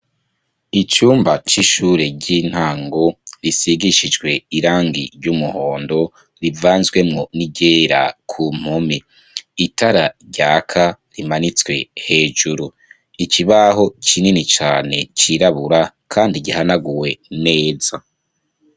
Icumba c'ishure ry'intango risigishijwe irangi ry'umuhondo, rivanzwe mu n'iryera ku mpome. Itara ryaka rimanitswe hejuru. Ikibaho kinini cane cirabura kandi gihanaguwe neza.